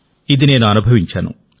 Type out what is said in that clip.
ఇది నేను అనుభవించాను